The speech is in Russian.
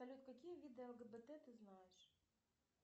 салют какие виды лгбт ты знаешь